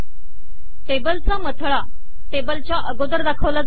टेबलचा मथळा टेबलच्या अगोदर दाखवला जातो